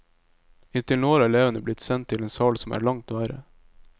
Inntil nå har elevene blitt sendt til en sal som er langt verre.